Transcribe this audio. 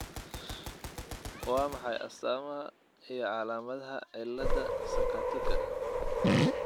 Waa maxay astaamaha iyo calaamadaha cillada Sakatika?